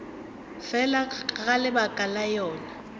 fela ga lebaka la yona